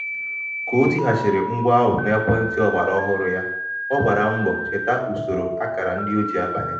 ka o tighachiri ngwa ahụ n'ekwentị ọgbara ọhụrụ ya ọ gbara mbọcheta usoro akara ndị o ji abanye.